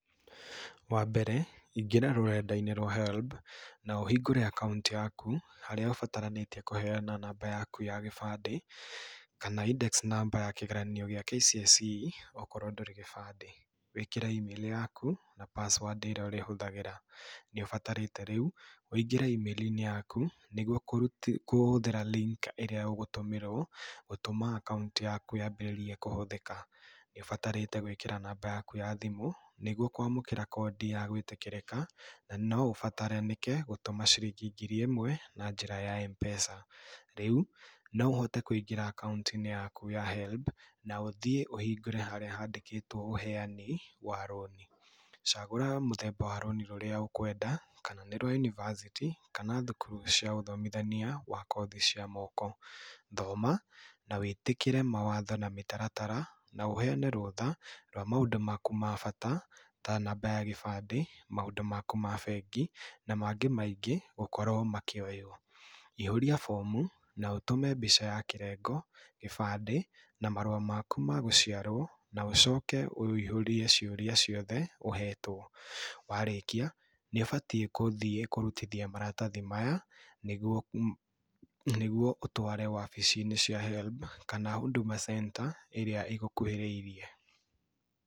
Wa mbere ingĩra rũrenda-inĩ rwa HELB na ũhingũre akaũnti yaku harĩa ũbataranĩtie kũheana namba yaku ya gĩbandĩ, kana index number yaku ya KCSE okorwo ndũrĩ kĩbandĩ. Wĩkĩre email yaku na password ĩrĩa ũrĩhũthagĩra. Nĩ ũbatarĩte rĩu ũingĩre email inĩ yaku nĩguo kũhũthĩra link ĩrĩa ũgũtũmĩrwo gũtũma akaũnti yaku yaambĩrĩrie kũhũthĩka. Nĩ ũbatarĩte gwĩkĩra namba yaku ya thimũ nĩguo kwamũkĩra code ya gwĩtĩkĩrĩka na no ũbataranĩke gũtũma ciringi ngiri ĩmwe na njĩra ya M-Pesa. Rĩu no ũhote kũingĩra akaũnti-inĩ yaku ya HELB na ũthiĩ ũhingũre úharĩa handĩkĩtwo ũheani wa rũni. Cagũa mũthemba ũrĩa wa rũni ũkwenda kana nĩ rwa university kana thukuru cia ũthomithania wa kothi cia moko. Thoma na wĩtĩkĩre mawatho ma mĩtaratara na ũheane rũtha rwa maũndu maku ma bata, ta namba ya gĩbandĩ, maũndũ maku ma bengi na mangĩ maingĩ gũkorwo makĩoywo. Ihúũria fomu na ũtũme mbica ya kĩrengo, gĩbandĩ na marũa maku ma gũciarwo na ũcoke ũihũrie ciũria ciothe ũhetwo. Warĩkia nĩ ũbatiĩ gũthiĩ kũrutithia maratathi maya nĩguo ũtware wabici-inĩ cia HELB kana Huduma Center ĩrĩa ĩgũkuhĩrĩirie.